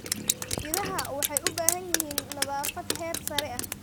Idaha waxay u baahan yihiin nadaafad heer sare ah.